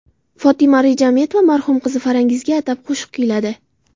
Fotima Rejametova marhum qizi Farangizga atab qo‘shiq kuyladi .